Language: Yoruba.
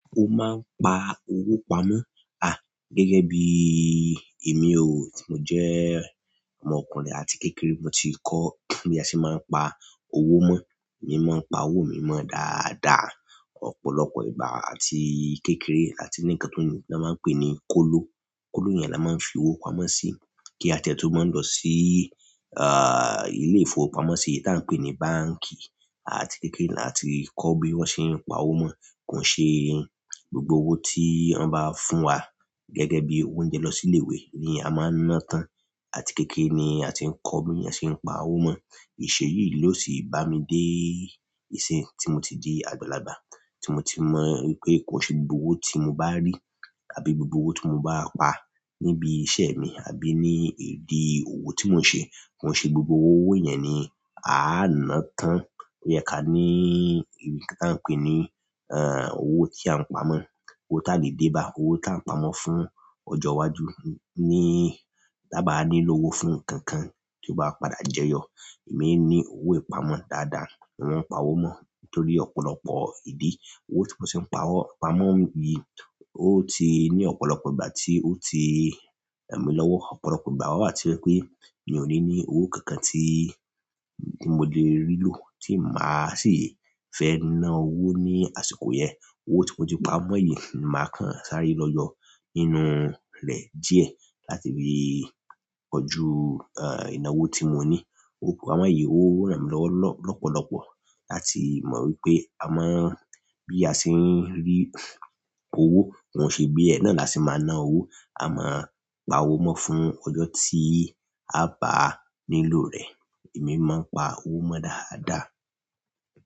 O máa ń pa owó pamọ́, à, gẹ́gẹ́ bí i emi o, ti mo jẹ́ ọmọkùnrin àti kékeré mo ti kọ́ bí a ṣe máa ń pa owó mó. Mi ò mọ pa owó mi mọ́ dáadáa, ọ̀pọ̀lọpọ̀ ìgbà àti kékeré àti nì nkan ti wọn máa ń pè ní kóló. Kolọ yen ni a maa n fi owo pamọ́ si ki a ti e to mo lọ si ile ifowopamọsi ti a n pe ni báǹkì àti kékeré la ti kọ́ bí wọ́n ṣe ń pa owó mó. Kò ṣe gbogbo owó tí wọ́n bá fún wa gẹ́gẹ́ bí oúnjẹ lọ sí ilé ìwé ni a máa ń ná tán. Àti kékeré ni a ti ń kọ́ bí a ṣe ń pa owó mó. Ìṣe yìí ló sì bá mi dé ìsin tí mo ti di àgbàlagbà, tí mo ti mọ̀ wípé kò ṣe gbogbo owó tí mo bá rí àbí gbogbo owó tí mo bá pa níbi iṣẹ́ mi àbí ní ìdí owó tí mo ń ṣe, kò ṣe gbogbo owó yẹn ni a á ná tán. Ó yẹ ká ní ìbí tá ń pè ní, owó tí à ń pe ni owo ti a n pamọ́, owó tá lè dé bá, owó tá ń pamọ́ fún ọjọ́ iwájú ní ta bá nílò owó fún nǹkan kan tí ó bá padà jẹyọ. Èmi ni owó ìpamọ́ dáadáa, mo ń pa owó mó torí ọ̀pọ̀lọpọ̀ ìdí. Owo ti mo si n pamọ́ yìí o ti ni ọ̀pọ̀lọpọ̀ ìgbà ti o ti ran mi lọwọ ọ̀pọ̀lọpọ̀ ìgbà wá tó je pé mi ò ní ní owó kankan tí, tí mo lè rí lò tí mà á sì fẹ́ ná owó ní àsìkò yẹn. Owó tí mo ti pamọ́ yìí mà á kàn sáré lọ́yọ́ nínú rẹ díẹ̀ láti fi kojú, ìnáwó tí mo ní. Owó pamọ́ yìí o ran mí lọ́wọ́ lọ́pọ̀lọpọ̀ láti mọ̀ wípé a mo ń, bí a ṣe ń rí owó, kò ṣe bí ẹ ná làá ṣe máa ná owó. A máa pa owó mó fún ọjọ́ tí a bá nílò rẹ̀. Èmi máa ń pa owó mó dáadáa.